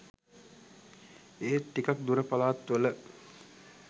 ඒත් ටිකක් දුර පලාත්වල